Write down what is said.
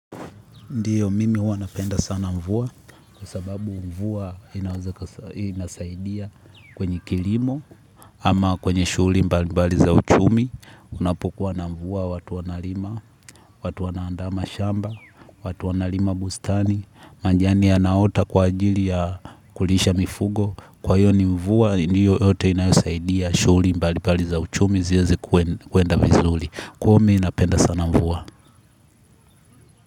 Ndiyo mimi wanapenda sana mvua kwa sababu mvua inasaidia kwenye kilimo ama kwenye shughuli mbalimbali za uchumi unapokuwa na mvua watu wana lima, watu wanaandaa mashamba, watu wanalima bustani, majani yanaota kwa ajili ya kulisha mifugo kwa hiyo ni mvua ndiyo yote inasaidia shughuli mbalimbali za uchumi ziweze kwenda vizuri. Kwahyo mi napenda sana mvua.